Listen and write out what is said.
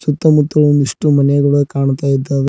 ಸುತ್ತಮುತ್ತಲು ಒಂದಿಷ್ಟು ಮನೆಗಳು ಕಾಣ್ತಾ ಇದ್ದಾವೆ.